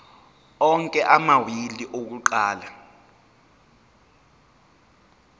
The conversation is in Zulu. onke amawili akuqala